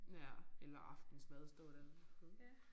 Ja eller aftensmad at stå dér